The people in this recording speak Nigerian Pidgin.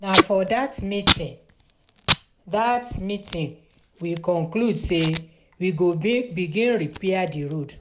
na for dat meeting dat meeting we conclude sey we go begin repair di road.